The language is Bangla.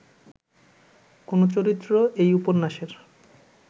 কোনো চরিত্র এই উপন্যাসের